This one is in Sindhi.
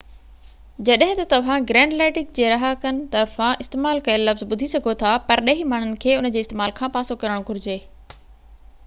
جڏهن ته توهان گرينلينڊڪ جي رهاڪن طرفان استعمال ڪيل لفظ ٻڌي سگهو ٿا پرڏيهي ماڻهن کي ان جي استعمال کان پاسو ڪرڻ گهرجي